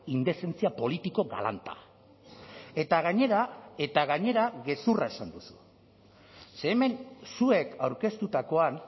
indezentzia politiko galanta eta gainera eta gainera gezurra esan duzu ze hemen zuek aurkeztutakoan